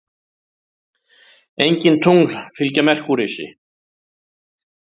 Engin tungl fylgja Merkúríusi.